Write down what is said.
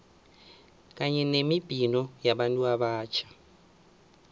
kanye nemibhino yabantu abatjha